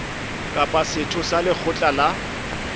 kapa setho sa lekgotla la